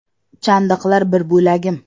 Chandiqlar bir bo‘lagim.